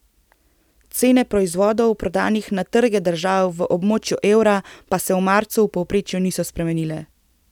Cene proizvodov, prodanih na trge držav v območju evra, pa se v marcu v povprečju niso spremenile.